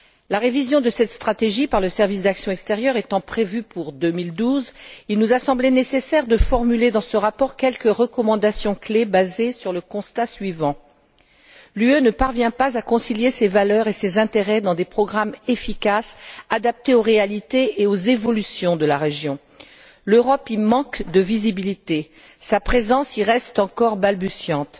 La révision de cette stratégie par le service pour l'action extérieure étant prévue pour 2012, il nous a semblé nécessaire de formuler, dans ce rapport, quelques recommandations clés basées sur le constat suivant l'UE ne parvient pas à concilier ses valeurs et ses intérêts dans des programmes efficaces, adaptés aux réalités et aux évolutions de la région. L'Europe y manque de visibilité. Sa présence y reste encore balbutiante.